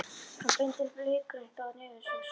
Hann bendir leikrænt á nefið á sér.